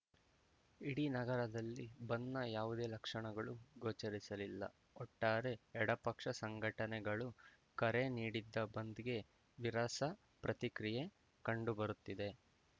ಇಡೀ ನಗರದಲ್ಲಿ ಬಂದ್‌ನ ಯಾವುದೇ ಲಕ್ಷಣಗಳೂ ಗೋಚರಿಸಲಿಲ್ಲ ಒಟ್ಟಾರೆ ಎಡ ಪಕ್ಷ ಸಂಘಟನೆಗಳು ಕರೆ ನೀಡಿದ್ದ ಬಂದ್‌ಗೆ ನೀರಸ ಪ್ರತಿಕ್ರಿಯೆ ಕಂಡು ಬರುತ್ತಿದೆ